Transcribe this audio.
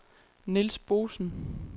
Nils Boesen